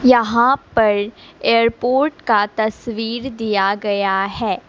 यहां पर एयरपोर्ट का तस्वीर दिया गया है।